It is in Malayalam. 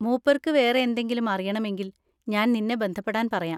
മൂപ്പർക്ക് വേറെ എന്തെങ്കിലും അറിയണമെങ്കിൽ ഞാൻ നിന്നെ ബന്ധപ്പെടാൻ പറയാം.